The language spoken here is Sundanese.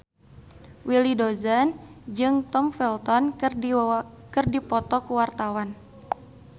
Willy Dozan jeung Tom Felton keur dipoto ku wartawan